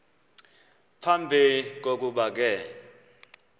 phambi kokuba ke